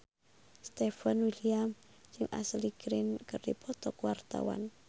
Stefan William jeung Ashley Greene keur dipoto ku wartawan